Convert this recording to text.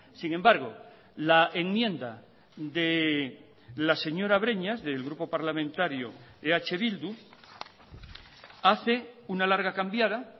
sin embargo la enmienda de la señora breñas del grupo parlamentario eh bildu hace una larga cambiada